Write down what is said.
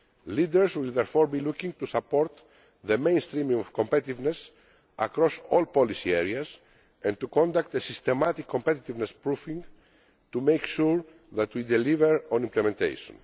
Leaders will therefore be looking to support mainstreaming of competitiveness across all policy areas and to conduct systematic competitiveness proofing to make sure that we deliver on implementation.